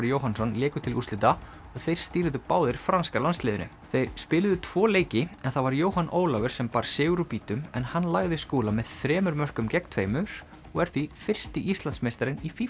Jóhannsson léku til úrslita og þeir stýrðu báðir franska landsliðinu þeir spiluðu tvo leiki en það var Jóhann Ólafur sem bar sigur úr býtum en hann lagði Skúla með þremur mörkum gegn tveimur og er því fyrsti Íslandsmeistarinn í